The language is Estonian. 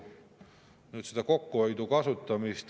Nüüd, selle kokkuhoiu kasutamine …